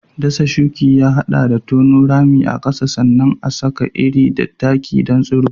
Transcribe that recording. Dasa shuki ya haɗa da tono ramuka a ƙasa sannan a saka iri da taki don tsiro.